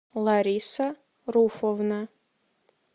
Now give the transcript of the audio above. лариса руфовна